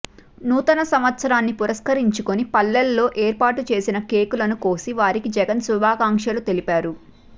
నూతన సంవత్సరాన్ని పురస్కరించుకుని పల్లెల్లో ఏర్పాటు చేసిన కేకులను కోసి వారికి జగన్ శుభాకాంక్షలు తెలిపారు